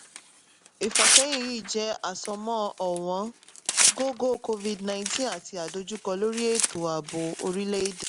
ìfàsẹ́yìn yìí jẹ́ àsomọ́ ọ̀wọ́n gógó covid-nineteen àti adojúkọ lórí ètò ààbò orílẹ̀-èdè.